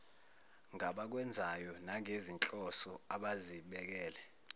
ngabakwenzayo nangezinhloso abazibekele